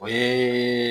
O ye